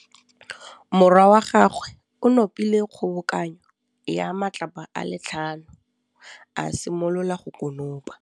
Morwa wa gagwe o nopile kgobokanô ya matlapa a le tlhano, a simolola go konopa.